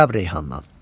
Ərəb Reyhandan.